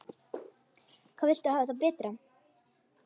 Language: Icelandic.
Hvað viltu hafa það betra?